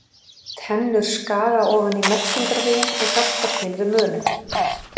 Tennur skaga ofan í meltingarveginn og hjálpa til við mölun.